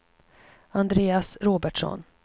Andreas Robertsson